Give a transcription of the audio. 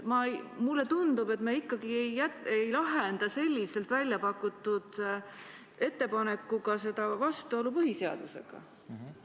Mulle tundub, et me ikkagi ei lahenda selliselt väljapakutud ettepanekuga vastuolu põhiseadusega.